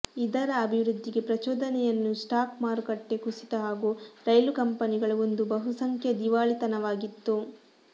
ಇದರ ಅಭಿವೃದ್ಧಿಗೆ ಪ್ರಚೋದನೆಯನ್ನು ಸ್ಟಾಕ್ ಮಾರುಕಟ್ಟೆ ಕುಸಿತ ಹಾಗೂ ರೈಲು ಕಂಪನಿಗಳು ಒಂದು ಬಹುಸಂಖ್ಯಾ ದಿವಾಳಿತನವಾಗಿತ್ತು